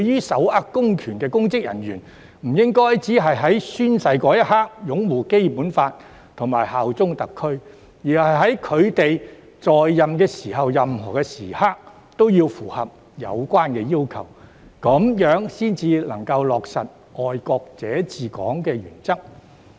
手握公權力的公職人員不應只在宣誓的一刻才擁護《基本法》及效忠特區，在任期間也應符合有關要求，這樣才可以落實"愛國者治港"的原則。